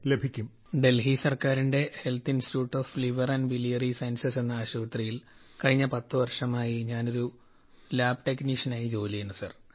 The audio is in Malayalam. ഡൽഹി സർക്കാരിന്റെ health institute of liver and biliary sciences എന്ന ആശുപത്രിയിൽ കഴിഞ്ഞ 10 വർഷമായി ഞാൻ ഒരു ലാബ് ടെക്നീഷ്യനായി ജോലി ചെയ്യുന്നു